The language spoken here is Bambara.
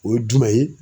O ye jumɛn ye